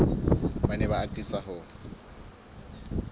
ba ne ba atisa ho